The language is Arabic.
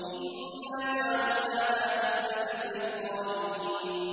إِنَّا جَعَلْنَاهَا فِتْنَةً لِّلظَّالِمِينَ